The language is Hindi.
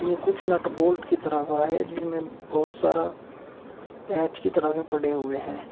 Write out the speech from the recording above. कुछ नट बोल्ट की तरह का है जिसमें बहुत सारा पेंच की तरह के पड़े हुए हैं।